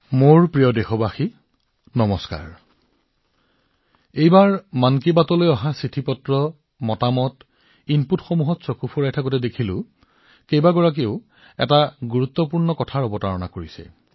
মোৰ মৰমৰ দেশবাসীসকল নমস্কাৰ এইবাৰ যেতিয়া মই মন কি বাতৰ বাবে মন্তব্য পাও যিকোনো চিঠি আহে যেনে এনেধৰণৰ ইনপুট সেইবোৰ প্ৰত্যক্ষ কৰোঁতে দেখা পাইছিলো যে বহু লোকে এটা অতি গুৰুত্বপূৰ্ণ কথা সোঁৱৰণ কৰাই দিছিল